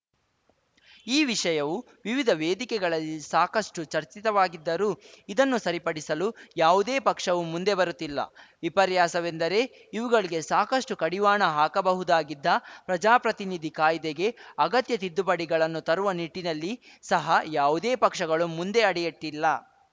ಈ ವಿಷಯವೂ ವಿವಿಧ ವೇದಿಕೆಗಳಲ್ಲಿ ಸಾಕಷ್ಟುಚರ್ಚಿತವಾಗಿದ್ದರೂ ಇದನ್ನು ಸರಿಪಡಿಸಲು ಯಾವುದೇ ಪಕ್ಷವೂ ಮುಂದೆಬರುತ್ತಿಲ್ಲ ವಿಪರ್ಯಾಸವೆಂದರೆ ಇವುಗಳಿಗೆ ಸಾಕಷ್ಟುಕಡಿವಾಣ ಹಾಕಬಹುದಾಗಿದ್ದ ಪ್ರಜಾಪ್ರತಿನಿಧಿ ಕಾಯ್ದೆಗೆ ಅಗತ್ಯ ತಿದ್ದುಪಡಿಗಳನ್ನು ತರುವ ನಿಟ್ಟಿನಲ್ಲಿ ಸಹ ಯಾವುದೇ ಪಕ್ಷಗಳು ಮುಂದೆ ಅಡಿಯಿಟ್ಟಿಲ್ಲ